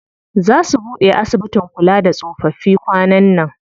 Zaa su buɗe asibitin kula da tsofaffi kwanan nan.